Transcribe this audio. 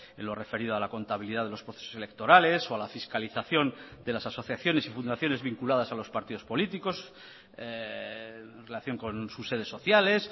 en lo referido a la contabilidad de los procesos electorales o a la fiscalización de las asociaciones y fundaciones vinculadas a los partidos políticos en relación con sus sedes sociales